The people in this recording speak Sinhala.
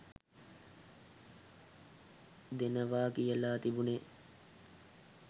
දෙනවා කියල තිබුනෙ.